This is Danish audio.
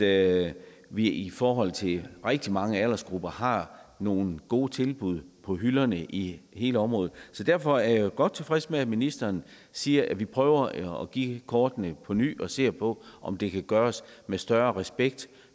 at vi i forhold til rigtig mange aldersgrupper har nogle gode tilbud på hylderne i hele området så derfor er jeg jo godt tilfreds med at ministeren siger at vi prøver at give kort på ny og ser på om det kan gøres med større respekt